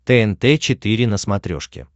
тнт четыре на смотрешке